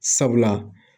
Sabula